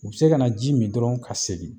U be se ka na ji mi dɔrɔn ka segin.